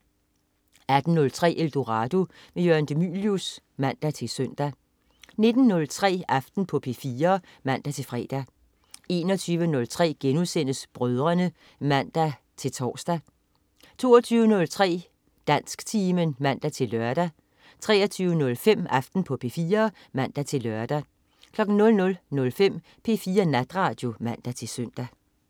18.03 Eldorado. Jørgen de Mylius (man-søn) 19.03 Aften på P4 (man-fre) 21.03 Brødrene* (man-tors) 22.03 Dansktimen (man-lør) 23.05 Aften på P4 (man-lør) 00.05 P4 Natradio (man-søn)